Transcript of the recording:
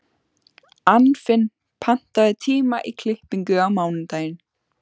Anfinn, pantaðu tíma í klippingu á mánudaginn.